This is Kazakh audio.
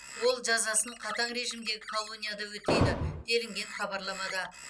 ол жазасын қатаң режимдегі колонияда өтейді делінген хабарламада